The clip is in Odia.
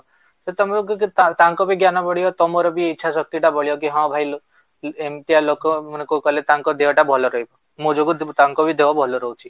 ଯଦି ତମେ ତାଙ୍କ ତାଙ୍କର ବି ଜ୍ଞାନ ବଢିବ, ତମର ବି ଇଛା ଶକ୍ତି ଟା ବଢିବ କି ହଁ ଭାଇ ଏମିତିଆ ଲୋକ ମାନେ କଣ କଲେ ତାଙ୍କ ଦେହ ଟା ବି ଭଲ ରହିବ ମୋ ଯୋଗୁରୁ ତାଙ୍କ ଦେହ ଟା ଭଲ ରହୁଛି